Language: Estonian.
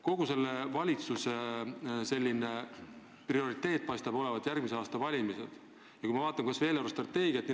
Kogu selle valitsuse prioriteet paistab olevat järgmise aasta valimised, kui ma vaatan kas või eelarvestrateegiat.